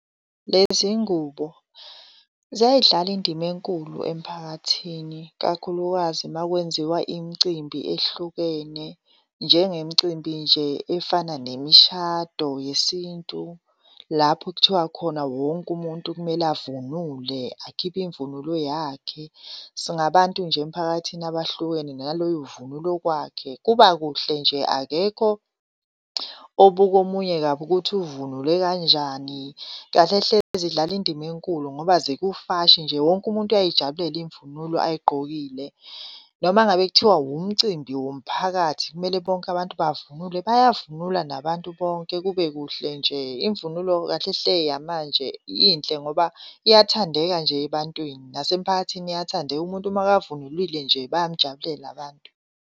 Lezi ngubo ziyayidlala indima enkulu emphakathini, kakhulukazi makwenziwa imicimbi ehlukene njengemcimbi nje efana nemishado yesintu. Lapho okuthiwa khona wonke umuntu kumele avunule, akhiphe imvunulo yakhe. Singabantu nje emphakathini abahlukene naloyo uvunula okwakhe, kuba kuhle nje akekho obuka omunye kabi ukuthi uvunule kanjani. Kahle hle zidlala indima enkulu ngoba zikufashi nje, wonke umuntu uyayijabulela imvunulo ayigqokile. Noma ngabe kuthiwa wumcimbi womphakathi kumele bonke abantu bavunule bayavunula nabantu bonke, kube kuhle nje. Imvunulo kahle hle yamanje inhle ngoba iyathandeka nje ebantwini nasemphakathini iyathandeka. Umuntu makavunulile nje bayamujabulela abantu.